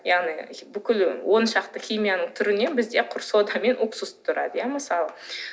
яғни бүкіл он шақты химияның түрінен бізде құр сода мен уксус тұрады иә мысалы